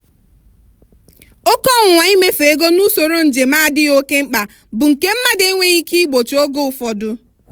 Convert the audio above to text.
oke ọnwụnwa imefu ego na usoro njem adịghị oke mkpa bụ nke mmadụ enweghị ike igbochi oge ụfọdụ.